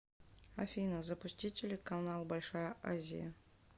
афина запустить телеканал большая азия